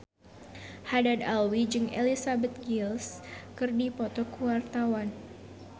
Haddad Alwi jeung Elizabeth Gillies keur dipoto ku wartawan